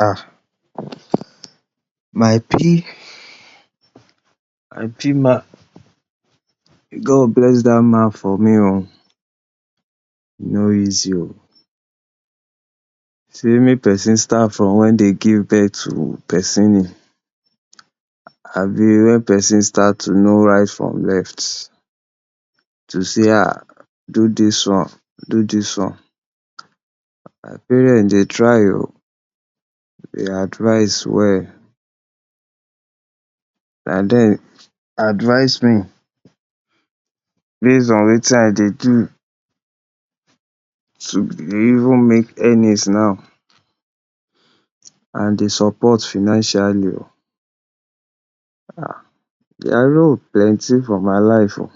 um my p my pman, God will bless dat man for me oh. e no easy oh, sey may pesin start from wey dey give birth to pesin ni abi wen person starts to know right from left to see; do dis one do dis one. my parent dey try oh dey advice well, na dem advice me base on wetin I dey do to even make earnings now and de support financially dia role plenty for my life oh.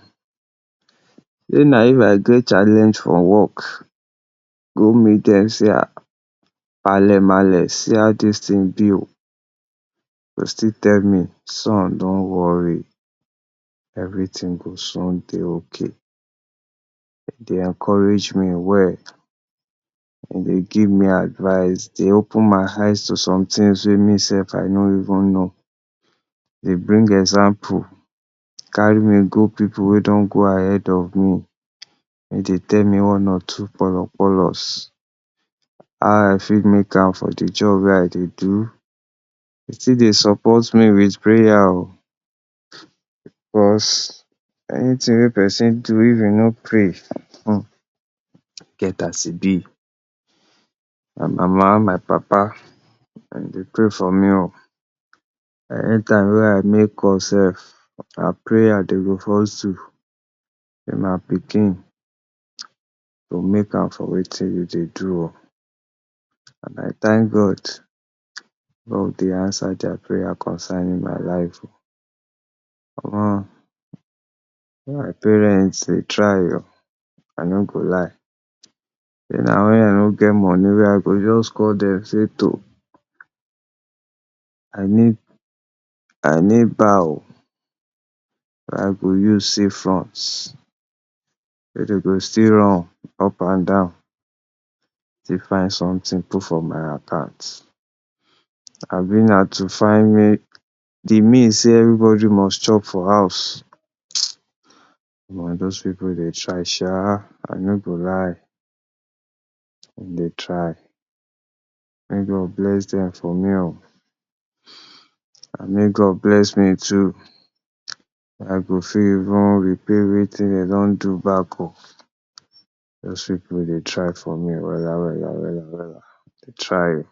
wen na if I get challenge for work. i go meet dem sey ah maàlémaale see how dis ting be oh dem go still tell me son don’t worry everyting go soon dey okay. Dem dey encourage me well dem dey give me advice dey open my eyes to some tings wey me sef I no even know. dem dey bring example carry me go pipu wey don go ahead of me dem dey tell me one or two how I fit make am for de job wey I dey do dey still dey support me with prayers oh because anyting wey person do if e no pray e get as e be. my mama my papa dem dey pray for me oh anytime wey I make call sef na prayer dem dey first do, my pikin you go make am for wetin you dey do oh and I tank God, God dey answer dia prayers concerning my life. omo my parents dey try oh I no go lie if na wen I no get money I go just call dem say to I need I need paho wey I go use see front wey dem go still run up and down to find someting put for my account. abi na to find de means sey everybody must chop for house. omo those pipu dey try sha I no go lie dem dey try make God bless dem for me oh and make God bless me too and I go fit even repay wetin dem don do back oh those pipu dey try for me wella wella wella wella. dem try oh.